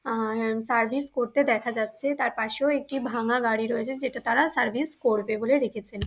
আ-আর আম সার্ভিস করতে দেখা যাচ্ছে তার পাশেও একটি ভাঙা গাড়ি রয়েছে যেটা তারা সার্ভিস করবে বলে রেখেছেন।